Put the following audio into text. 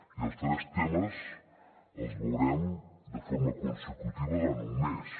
i els tres temes els veurem de forma consecutiva durant un mes